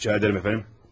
İtiraz edirəm, əfəndim.